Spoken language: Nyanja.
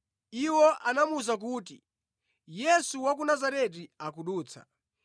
Iwo anamuwuza kuti “Yesu wa ku Nazareti akudutsa.”